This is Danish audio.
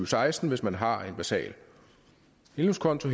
seksten hvis man har en basal indlånskonto